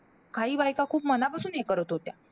काही बायका खूप मनापासून हे करत होत्या.